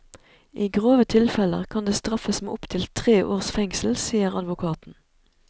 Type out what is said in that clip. I grove tilfeller kan det straffes med opptil tre års fengsel, sier advokaten.